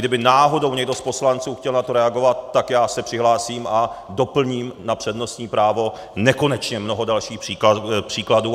Kdyby náhodou někdo z poslanců chtěl na to reagovat, tak já se přihlásím a doplním na přednostní právo nekonečně mnoho dalších příkladů.